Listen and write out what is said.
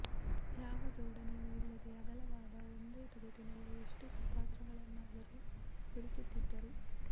ಯಾವ ಜೋಡಣೆಯೂ ಇಲ್ಲದೆ ಅಗಲವಾದ ಒಂದೇ ತೊಗಲಿನಲ್ಲಿ ಎಷ್ಟು ಪಾತ್ರಗಳನ್ನಾದರೂ ಬಿಡಿಸುತ್ತಿದ್ದರು